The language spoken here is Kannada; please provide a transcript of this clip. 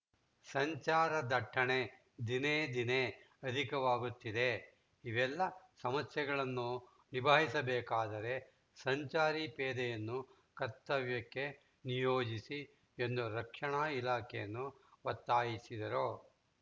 ಸಂಚಾರ ದಟ್ಟಣೆ ದಿನೇ ದಿನೇ ಅಧಿಕವಾಗುತ್ತಿದೆ ಇವೆಲ್ಲ ಸಮಸ್ಯೆಗಳನ್ನು ನಿಭಾಯಿಸಬೇಕಾದರೆ ಸಂಚಾರಿ ಪೇದೆಯನ್ನು ಕರ್ತವ್ಯಕ್ಕೆ ನಿಯೋಜಿಸಿ ಎಂದು ರಕ್ಷಣಾ ಇಲಾಖೆಯನ್ನು ಒತ್ತಾಯಿಸಿದರು